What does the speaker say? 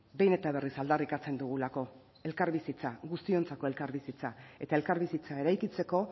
behin eta berriz aldarrikatzen dugulako elkarbizitza guztiontzako elkarbizitza eta elkarbizitza eraikitzeko